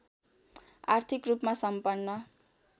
आर्थिक रूपमा सम्पन्न